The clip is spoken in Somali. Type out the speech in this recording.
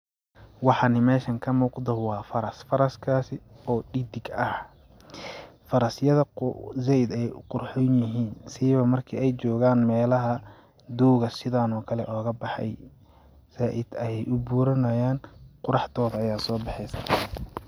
waxan mesha kamuuqdo waa faras, faraskaasi oo dhidig ah faras yada zaid ayay u qurxoon yihiin siiba marki ay jogaan melaha dooga sidaan oo kale ooga bexey zaid ayay u buranayaan quraxdooda ayaa so bexeeso.